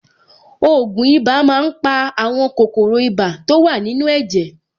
Ògùn ibà máa ń pa àwọn kòkòrò ibà to wà nínú ẹ̀jẹ̀.